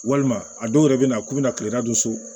Walima a dɔw yɛrɛ bɛ na k'u bɛna kile naani don so